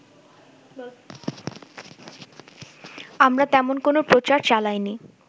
আমরা তেমন কোনো প্রচার চালাইনি